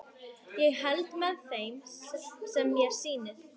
Ég held með þeim sem mér sýnist!